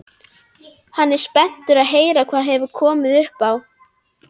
Hann er spenntur að heyra hvað hefur komið upp á.